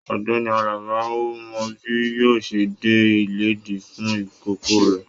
Ọ̀gbẹ́ni Àlàbá o mọ bi yóò ṣẹ dé ilédì fún ikòkò rẹ.